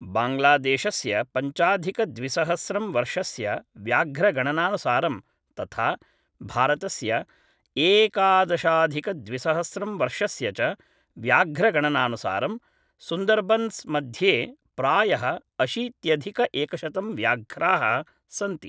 बाङ्ग्लादेशस्य पञ्चाधिकद्विसहस्रं वर्षस्य व्याघ्रगणनानुसारं तथा भारतस्य एकादशाधिकद्विसहस्रं वर्षस्य च व्याघ्रगणनानुसारं सुन्दर्बन्स्मध्ये प्रायः अशीत्यधिकएकशतं व्याघ्राः सन्ति